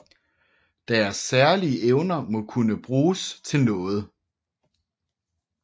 Deres særlige evner må kunne bruges til noget